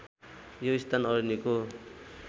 यो स्थान अरनिको